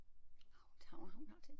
Har hun har hun har tændt